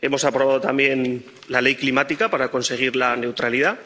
hemos aprobado también la Ley climática para conseguir la neutralidad